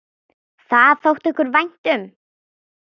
Það þótti okkur vænt um.